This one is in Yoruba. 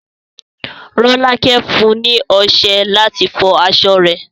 Rolake fún un ní ọsẹ láti fọ aṣọ rẹ̀